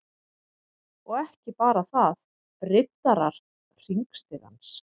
Og ekki bara þaðRiddarar_hringstigans